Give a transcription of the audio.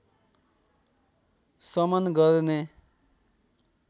शमन गर्ने